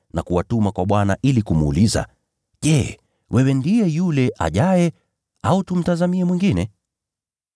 na kuwatuma kwa Bwana ili kumuuliza, “Wewe ndiye yule aliyekuwa aje, au tumngojee mwingine?”